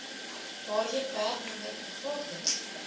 waarheen werknemer bevorder